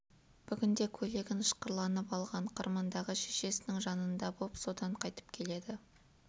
бүгін де көйлегін ышқырланып алған қырмандағы шешесінің жанында боп содан қайтып келеді